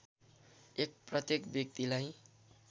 १ प्रत्येक व्यक्तिलाई